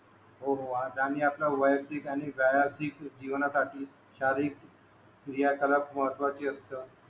हो हो आणि आपल्या वयक्तिक आणि जीवना साठी शारीरिक क्रिया सर्वात महत्वाची असते